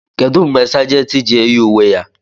kedu mgbe Sàgèntị ji-eyi uwe ya